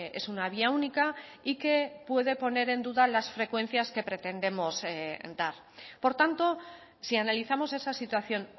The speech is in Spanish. es una vía única y que puede poner en duda las frecuencias que pretendemos dar por tanto si analizamos esa situación